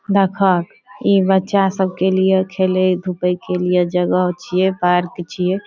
देखाक इ बच्चा सब के लिए खेले धुपे के लिए जगह छीये पार्क छीये।